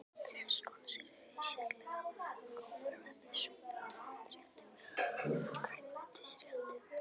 Þessar skonsur eru sérlega góðar með súpum, pottréttum og grænmetisréttum.